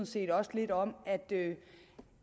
set også lidt om